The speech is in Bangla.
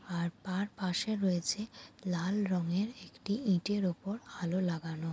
আর তার পাশে রয়েছে লাল রঙের একটি ইট এর ওপর আলো লাগানো।